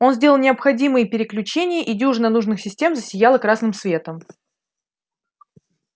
он сделал необходимые переключения и дюжина нужных систем засияла красным светом